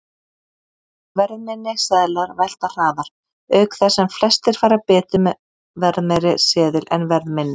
Verðminni seðlar velta hraðar, auk þess sem flestir fara betur með verðmeiri seðil en verðminni.